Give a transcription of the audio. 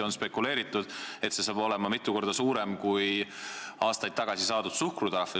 On spekuleeritud, et see oleks mitu korda suurem kui aastaid tagasi saadud suhkrutrahv.